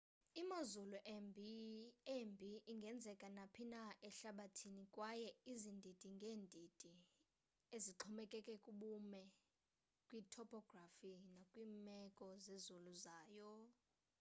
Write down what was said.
imozulu embi ingenzeka naphina ehlabathini kwaye izindidi ngedindi ezixhomekeke kubume kwi-topography nakwimeko zezulu zayo